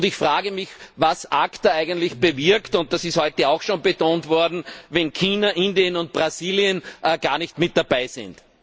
Ich frage mich, was ACTA eigentlich bewirkt, und das ist heute auch schon betont worden, wenn China, Indien und Brasilien gar nicht mit dabei sind.